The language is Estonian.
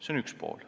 Seda esiteks.